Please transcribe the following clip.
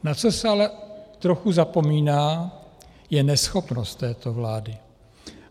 Na co se ale trochu zapomíná, je neschopnost této vlády.